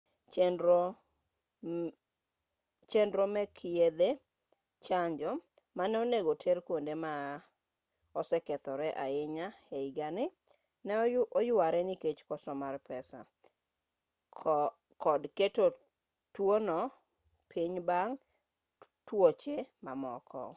chenro meke yedhe chanjo mane onego ter kuonde ma osekethore ahinya ehigani ne oyuare nikech koso mar pesa kod keto tuono piny bang' tuoche mamoko